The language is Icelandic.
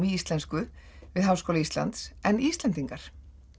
í íslensku við Háskóla Íslands en Íslendingar